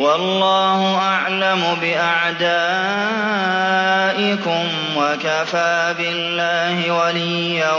وَاللَّهُ أَعْلَمُ بِأَعْدَائِكُمْ ۚ وَكَفَىٰ بِاللَّهِ وَلِيًّا